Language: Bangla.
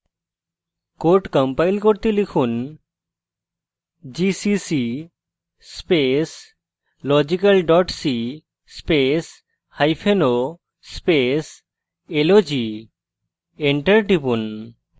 code compile করতে লিখুন gcc space logical dot c spaceo space log enter টিপুন